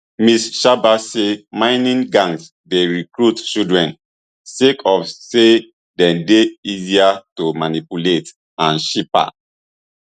ms xaba say mining gangs dey recruit children sake of say dem dey easier to manipulate and cheaper